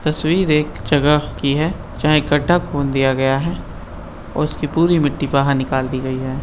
तस्वीर एक जगह की है जहां इकट्ठा खून दिया गया हैं और उस की पूरी मिटटी बहार निकाल दी गयी है ।